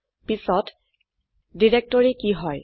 পিছত ডিৰেক্টৰী কি হয়